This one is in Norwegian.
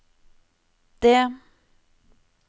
det